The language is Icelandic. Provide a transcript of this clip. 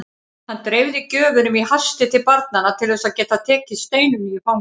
Hann dreifði gjöfunum í hasti til barnanna til þess að geta tekið Steinunni í fangið.